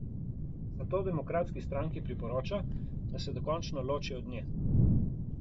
Zato demokratski stranki priporoča, da se dokončno loči od nje.